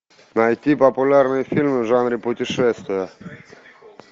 найти популярные фильмы в жанре путешествия